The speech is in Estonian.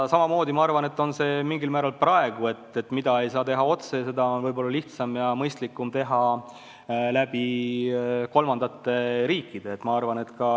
Samamoodi on see minu arvates praegu ka: mida ei saa teha otse, seda on võib-olla lihtsam ja mõistlikum teha kolmandate riikide kaudu.